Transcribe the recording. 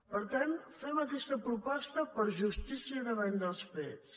per tant fem aquesta proposta per justícia davant dels fets